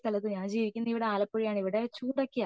ഈ സ്ഥലത്തു ഞാൻ ജീവിക്കുന്നത് ഇവിടെ ആലപ്പുഴ ആണ് ഇവിടെ ചൂടൊക്കെയാ